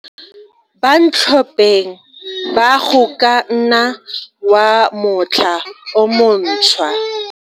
Bantlhopeng ba Go ka nna wa Motlha o Montshwa.